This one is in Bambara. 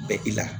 Bɛ i la